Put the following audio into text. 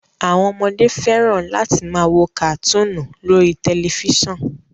Àwọn ọmọdé fẹ́ràn láti máa wo kàtúùnù lórí tẹ̀lifísàn